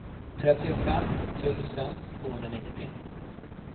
trettiofem tusen tvåhundranittio